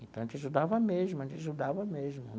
Então, a gente ajudava mesmo, a gente ajudava mesmo.